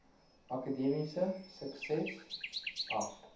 akademiese sukses af